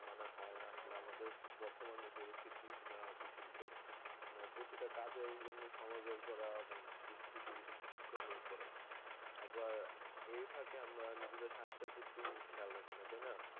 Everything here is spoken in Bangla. মানে হয়ে না আসলে আমাদের বর্তমান যে পরিস্থিতি আহ পৃথিবীতে আমরা প্রতিটা কাজের জন্য ঘোরা অনেক দুষ্কৃতী দুষ্কর হয়ে পরে আবার এই ফাঁকে আমরা নিজেদের স্বাস্থের প্রতি খেয়াল রাখি না তাই না